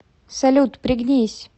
салют пригнись